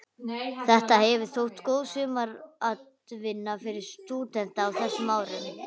Þetta hefur þótt góð sumaratvinna fyrir stúdenta á þessum árum?